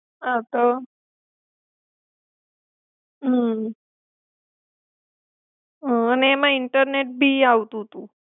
હા તો. હમ હમ, અને એમાં ઈન્ટરનેટ ભી આવતું તું.